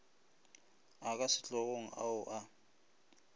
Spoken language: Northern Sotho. a ka sehlogong ao a